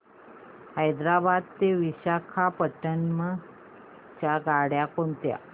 हैदराबाद ते विशाखापट्ण्णम च्या गाड्या कोणत्या